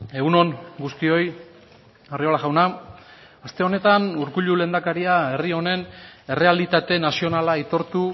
egun on guztioi arriola jauna aste honetan urkullu lehendakaria herri honen errealitate nazionala aitortu